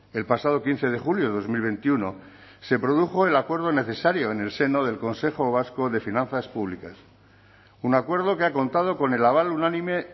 el pasado quince de julio de dos mil veintiuno se produjo el acuerdo necesario en el seno del consejo vasco de finanzas públicas un acuerdo que ha contado con el aval unánime